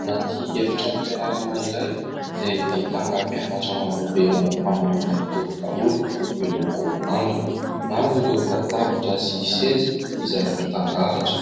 Anaty efitranom-pianarana iray izay ahitana mpianatra marobe manao fanamiana mitovy daholo miloko manga. Maro ireo latabatra sy seza izay mitandahatra.